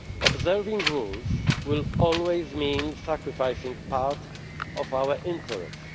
Observing rules will always mean sacrificing part of our interests.